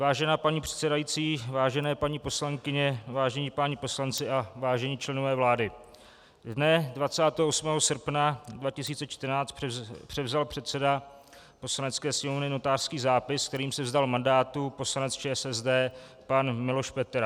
Vážená paní předsedající, vážené paní poslankyně, vážení páni poslanci a vážení členové vlády, dne 28. srpna 2014 převzal předseda Poslanecké sněmovny notářský zápis, kterým se vzdal mandátu poslanec ČSSD pan Miloš Petera.